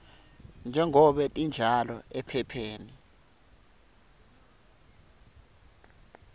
njengobe tinjalo ephepheni